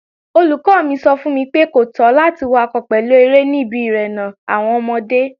Olùkọ́ mi sọ fún mi pé, kò tọ́ láti wakọ̀ pẹ̀lú eré ní ibi irénà àwọn ọmọdé